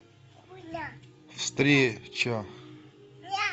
встреча